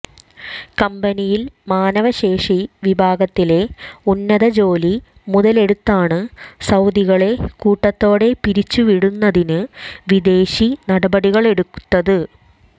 കമ്പനിയിൽ മാനവശേഷി വിഭാഗത്തിലെ ഉന്നത ജോലി മുതലെടുത്താണ് സൌദികളെ കൂട്ടത്തോടെ പിരിച്ചുവിടുന്നതിന് വിദേശി നടപടികളെടുത്തത്